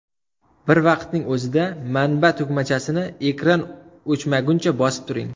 Bir vaqtning o‘zida manba tugmachasini ekran o‘chmaguncha bosib turing.